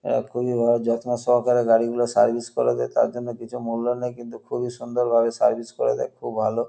এরা খুবই ভালো যত্ন সহকারে গাড়িগুলা সার্ভিস করে দেয়। তার জন্য কিছু মূল্য নেয় কিন্তু খুবই সুন্দর ভাবে সার্ভিস করে দেয়। খুব ভালো।